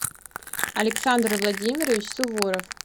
александр владимирович суворов